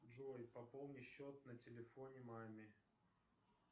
джой пополни счет на телефоне маме